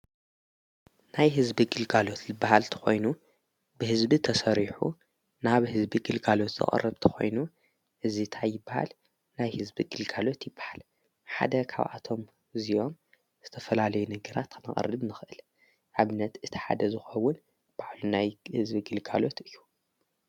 ናይ ሕዝቢ ግልጋሎት ዝበሃል ተኾይኑ ብሕዝቢ ተስሪሑ ናብ ሕዝቢ ግልጋሎት ዝቕርብ ተኾይኑ እዚ ታይበሃል ናይ ሕዝቢ ግልጋሎት ይበሃል። ሓደ ኻብኣቶም እዚዮም ዝተፈላለይ ነገራ ተነቐሪድድ ምኽእል ንኣብነት እቲ ሓደ ዝኸውን ባዕሉ ናይ ሕዝቢ ግልጋሎት እዩ።